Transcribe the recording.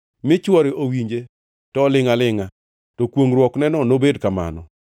mi chwore owinje to olingʼ alingʼa, to kwongʼruokneno nobed kamano.